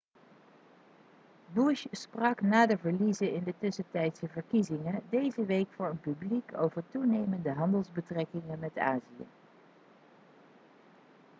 bush sprak na de verliezen in de tussentijdse verkiezingen deze week voor een publiek over toenemende handelsbetrekkingen met azië